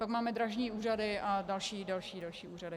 Pak máme drážní úřady a další a další úřady.